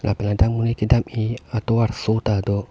lapen ladak monit kedam i atovarso tado.